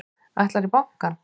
Ætlarðu í bankann?